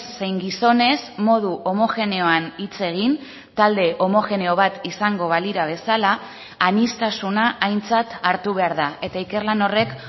zein gizonez modu homogeneoan hitz egin talde homogeneo bat izango balira bezala aniztasuna aintzat hartu behar da eta ikerlan horrek